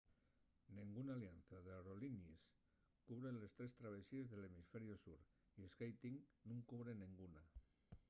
nenguna alianza d’aerollinies cubre les tres travesíes del hemisferiu sur y skyteam nun cubre nenguna